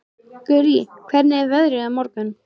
Gurrí, hvernig er veðrið á morgun?